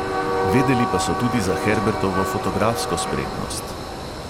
Vedeli pa so tudi za herbertovo fotografsko spretnost.